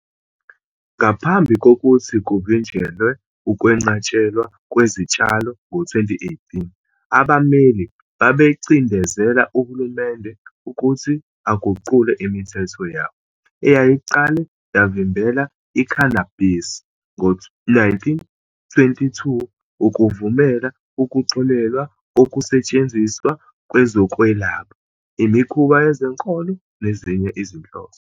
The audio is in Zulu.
Ngaphambi kokuthi kuvinjelwe ukwenqatshelwa kwesitshalo ngo-2018 abameli babecindezela uhulumende ukuthi aguqule imithetho yawo, eyayiqale yavimbela i-cannabis ngo-1922, ukuvumela ukuxolelwa kokusetshenziswa kwezokwelapha, imikhuba yezenkolo, nezinye izinhloso.